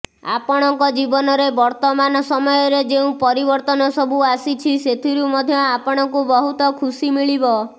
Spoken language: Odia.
ଆପଣଙ୍କ ଜୀବନରେ ବର୍ତ୍ତମାନ ସମୟରେ ଯେଉଁ ପରିବର୍ତ୍ତନ ସବୁ ଆସିଛି ସେଥିରୁ ମଧ୍ୟ ଆପଣଙ୍କୁ ବହୁତ ଖୁସି ମିଳିବ